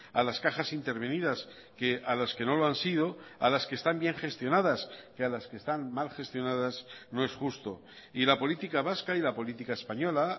a las cajas intervenidas que a las que no lo han sido a las que están bien gestionadas que a las que están mal gestionadas no es justo y la política vasca y la política española